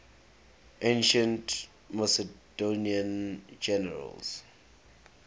ancient macedonian generals